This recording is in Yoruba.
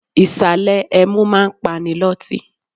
Ìsàlè ẹmu máa ń pani loti.